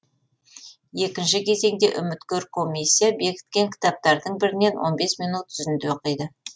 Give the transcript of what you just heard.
екінші кезеңде үміткер комиссия бекіткен кітаптардың бірінен он бес минут үзінді оқиды